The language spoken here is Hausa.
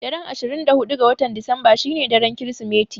Daren ashirin da huɗu ga Disamba shine daren Kirsimeti.